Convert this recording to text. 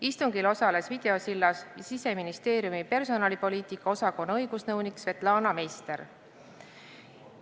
Istungil osales videosilla vahendusel Siseministeeriumi personalipoliitika osakonna õigusnõunik Svetlana Meister.